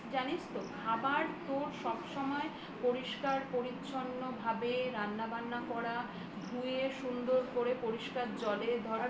জানিস তো খাবার সব সময় পরিষ্কার পরিচ্ছন্নভাবেই রান্নাবান্না করা ধুয়ে সুন্দর করে পরিষ্কার জলে